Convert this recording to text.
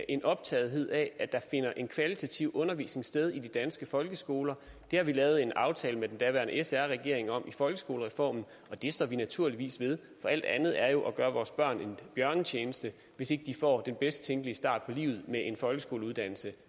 en optagethed af at der finder en kvalitativ undervisning sted i de danske folkeskoler det har vi lavet en aftale med den daværende sr regering om i folkeskolereformen og det står vi naturligvis ved for alt andet er jo at gøre vores børn en bjørnetjeneste hvis ikke de får den bedst tænkelige start på livet med en folkeskoleuddannelse